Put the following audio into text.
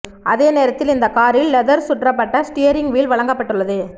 அதே நேரத்தில் இந்த காரில் லெதர் சுற்றப்பட்ட ஸ்டியரிங் வீல் வழங்கப்பட்டுள்ளது